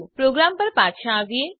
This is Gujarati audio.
પ્રોગ્રામ પર પાછા આવીએ